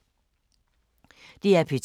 DR P2